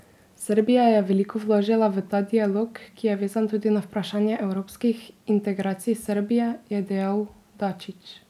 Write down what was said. Srbija je veliko vložila v ta dialog, ki je vezan tudi na vprašanje evropskih integracij Srbije, je dejal Dačić.